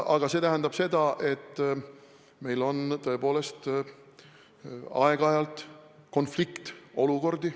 Aga see tähendab seda, et meil on tõepoolest aeg-ajalt konfliktolukordi.